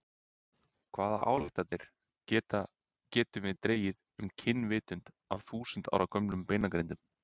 Hvaða ályktanir getum við dregið um og kynvitund af þúsund ára gömlum beinagrindum?